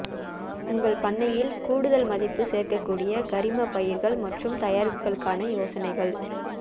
உங்கள் பண்ணையில் கூடுதல் மதிப்பு சேர்க்கக்கூடிய கரிம பயிர்கள் மற்றும் தயாரிப்புகளுக்கான யோசனைகள்